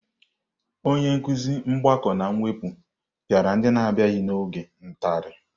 onye nkuzi mgbakọ na mwepụ pịara ndị n'abịaghị n'oge ntali.